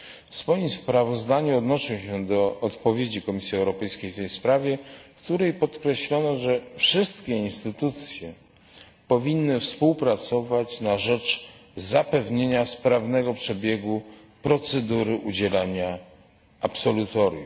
W swoim sprawozdaniu odnoszę się do odpowiedzi Komisji Europejskiej w tej sprawie, w której podkreślono, że wszystkie instytucje powinny współpracować na rzecz zapewnienia sprawnego przebiegu procedury udzielania absolutorium.